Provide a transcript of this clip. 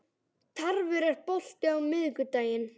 Tarfur, er bolti á miðvikudaginn?